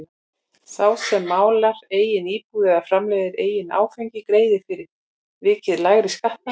Sá sem málar eigin íbúð eða framleiðir eigið áfengi greiðir fyrir vikið lægri skatta.